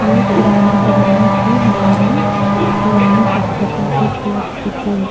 ये पुराने ज़माने की हमारी पुरानी सभ्यता की कला कृति है।